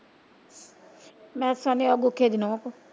ਮੈਂ ਉਹ ਗੁਖੇ ਦੀ ਨੋਹ ਕੋ।